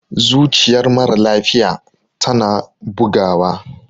zuciyar mara lafiya tana bugawa